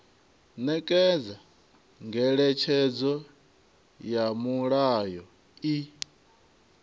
nekedza ngeletshedzo ya mulayo i